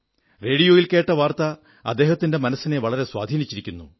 റേഡിയോയിൽ കേട്ട വാർത്ത അദ്ദേഹത്തിന്റെ മനസ്സിനെ വളരെ സ്വാധീനിച്ചിരിക്കുന്നു